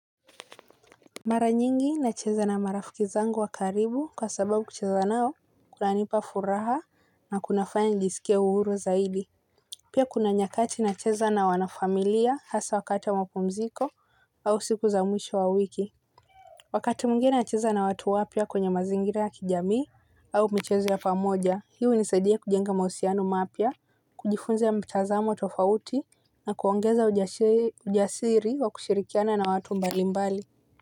Mara nyingi nacheza na marafiki zangu wa karibu kwa sababu kucheza nao kunanipa furaha na kunafanya nijisikie uhuru zaidi. Pia kuna nyakati nacheza na wanafamilia hasa wakati wa mapumziko au siku za mwisho wa wiki. Wakati mwingine nacheza na watu wapya kwenye mazingira ya kijamii au michezo ya pamoja hii unisadia kujenga mausiano mapya. Kujifunza mtazamo tofauti na kuongeza ujasiri wa kushirikiana na watu mbali mbali.